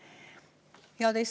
Head Eesti inimesed!